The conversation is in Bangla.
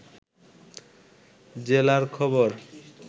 জেলার খবর